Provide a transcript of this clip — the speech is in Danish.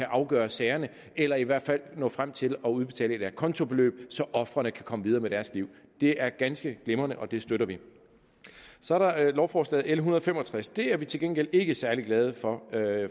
afgøre sagerne eller i hvert fald nå frem til at udbetale et acontobeløb så ofrene kan komme videre med deres liv det er ganske glimrende og det støtter vi så er der lovforslaget l en hundrede og fem og tres det er vi til gengæld ikke særlig glade for